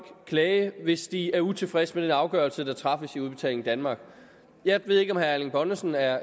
klage hvis de er utilfredse med den afgørelse der træffes i udbetaling danmark jeg ved ikke om herre erling bonnesen er